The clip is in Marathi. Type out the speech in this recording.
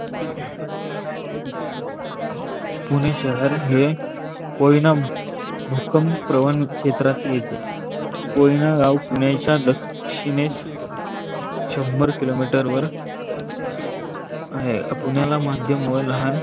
पुणे शहर हे कोहीनाम भूकंप प्रवण छेत्रात येते. कोहिनराव पुणेच्या दक्षिनेस शंभर किलो मीटरवर पुणेला माध्यम व लहान